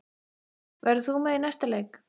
Verður þú með í næsta leik?